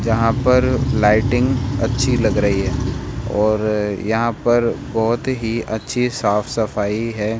यहां पर लाइटिंग अच्छी लग रही है और यहां पर बहुत ही अच्छी साफ-सफाई है।